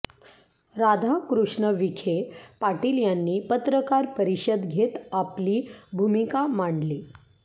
राधाकृष्ण विखे पाटील यांनी पत्रकार परिषद घेत आपली भूमिका मांडली